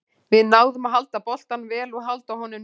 Við náðum að halda boltanum vel og halda honum niðri.